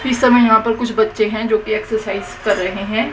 इस समय यहां पर कुछ बच्चे है जोकि एक्सरसाइज कर रहे है।